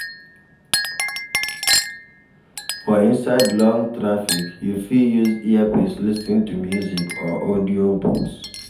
For inside Long traffick you fit use earpiece lis ten to music or audio books